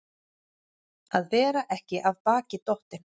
Að vera ekki af baki dottinn